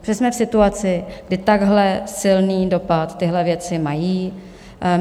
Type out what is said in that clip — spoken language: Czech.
Protože jsme v situaci, kdy takhle silný dopad tyhle věci mají.